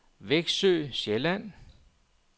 Veksø Sjælland